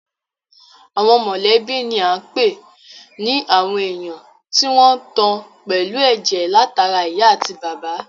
Àwọn mọ̀lẹ́bí ni à ń pè ní àwọn èèyàn tí wọ́n tan pẹ̀lú ẹ̀jẹ̀ látara ìyá àti bàbá